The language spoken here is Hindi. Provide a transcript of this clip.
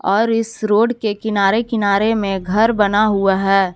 और इस रोड के किनारे किनारे में घर बना हुआ है।